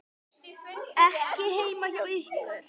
Ekki heima hjá ykkur.